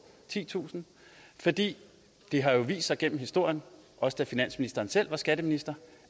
titusind for det har jo vist sig igennem historien også da finansministeren selv var skatteminister